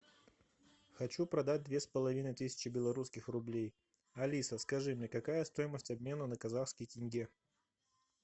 хочу продать две с половиной тысячи белорусских рублей алиса скажи мне какая стоимость обмена на казахский тенге